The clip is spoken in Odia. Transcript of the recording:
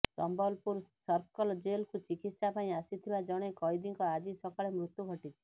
ସମ୍ବଲପୁର ସର୍କଲ୍ ଜେଲ୍କୁ ଚିକିତ୍ସା ପାଇଁ ଆସିଥିବା ଜଣେ କଏଦୀଙ୍କ ଆଜି ସକାଳେ ମୃତ୍ୟୁ ଘଟିଛି